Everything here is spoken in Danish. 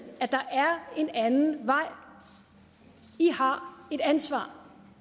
i en anden vej i har et ansvar